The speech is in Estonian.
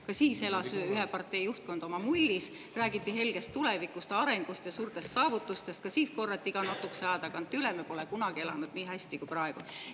Ka siis elas ühe partei juhtkond oma mullis, räägiti helgest tulevikust, arengust ja suurtest saavutustest, ka siis korrati iga natukese aja tagant üle, et me pole kunagi elanud nii hästi kui praegu.